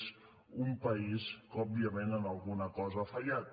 és un país que òbviament en alguna cosa ha fallat